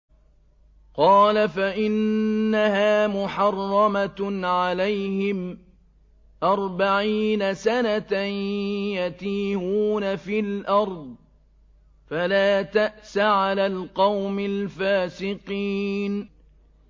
قَالَ فَإِنَّهَا مُحَرَّمَةٌ عَلَيْهِمْ ۛ أَرْبَعِينَ سَنَةً ۛ يَتِيهُونَ فِي الْأَرْضِ ۚ فَلَا تَأْسَ عَلَى الْقَوْمِ الْفَاسِقِينَ